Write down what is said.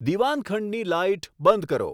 દીવાનખંડની light બંધ કરો